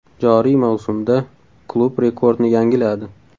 Joriy mavsumda klub rekordni yangiladi .